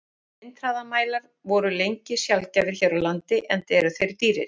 Vindhraðamælar voru lengi sjaldgæfir hér á landi, enda eru þeir dýrir.